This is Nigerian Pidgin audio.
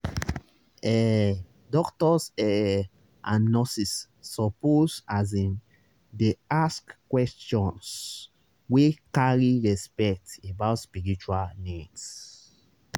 ehh doctors ehh and nurses suppose asin dey ask questions wey carry respect about spiritual needs.